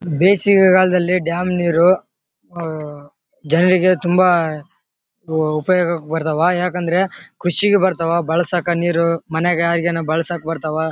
ಬೇಸಿಗೆ ಕಾಲದಲ್ಲಿ ಡ್ಯಾಮ್ ನೀರು ಆಹ್ಹ್ ಜನರಿಗೆ ತುಂಬಾ ಹ್ಮ್ ಉಪಯೋಗಕ್ಕೆ ಬರ್ತಾವೆ ಯಾಕಂದ್ರೆ ಕೃಷಿಗೆ ಬರ್ತಾವ ಬಳಸಕ್ಕೆ ನೀರು ಮನೆಗ ಈಗೇನೋ ಬಳಸಕ್ಕೆ ಬರ್ತಾವ.